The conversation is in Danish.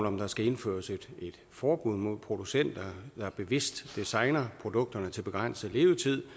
om der skal indføres et forbud mod at producenter bevidst designer produkterne til begrænset levetid